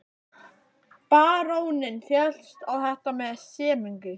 Baróninn féllst á þetta með semingi.